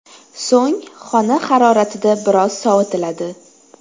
So‘ng xona haroratida biroz sovitiladi.